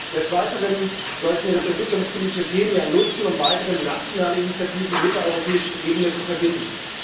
Des Weiteren sollten wir das entwicklungspolitische Themenjahr nutzen, um weitere nationale Initiativen mit der europäischen Ebene zu verbinden.